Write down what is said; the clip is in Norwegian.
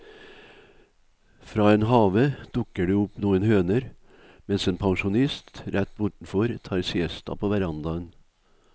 Fra en have dukker det opp noen høner, mens en pensjonist rett bortenfor tar siesta på verandaen.